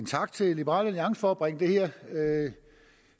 tak til liberal alliance for at bringe det her